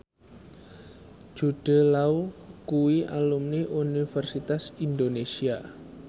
Jude Law kuwi alumni Universitas Indonesia